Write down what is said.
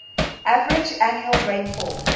average annual rainfall